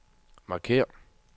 markér